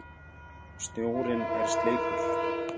Snjórinn er sleipur!